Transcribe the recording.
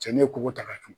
Cɛ ne ye ko ta ka tugu